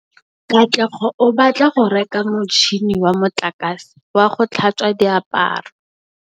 Katlego o batla go reka motšhine wa motlakase wa go tlhatswa diaparo.